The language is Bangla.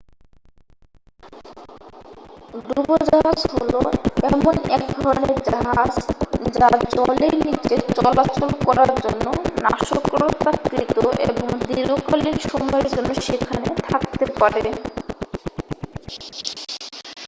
ডুবোজাহাজ হল এমন এক ধরণের জাহাজ যা জলের নীচে চলাচল করার জন্য নকশাকৃত এবং দীর্ঘকালীন সময়ের জন্য সেখানে থাকতে পারে